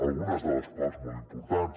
algunes de les quals molt importants